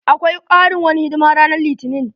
Akwai karin wani hidima ranan litinin.